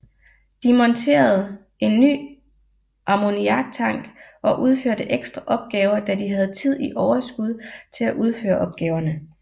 De monterede en ny ammoniaktank og udførte ekstra opgaver da de have tid i overskud til at udføre opgaverne